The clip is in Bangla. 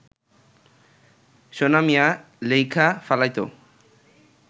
সোনা মিয়া লেইখা ফালাইত